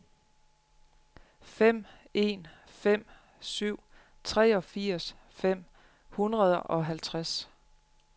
fem en fem syv treogfirs fem hundrede og halvtreds